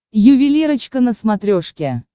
ювелирочка на смотрешке